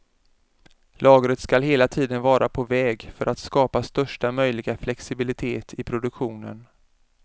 Lagret ska hela tiden vara på väg för att skapa största möjliga flexibilitet i produktionen.